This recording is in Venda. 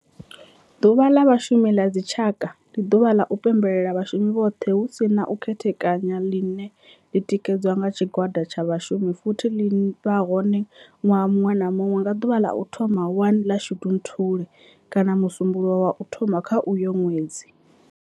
Ḓuvha la Vhashumi la dzi tshaka, ndi duvha la u pembela vhashumi vhothe hu si na u khethekanya line li tikedzwa nga tshigwada tsha vhashumi futhi li vha hone nwaha munwe na munwe nga duvha la u thoma 1 la Shundunthule kana musumbulowo wa u thoma kha uyo nwedzi.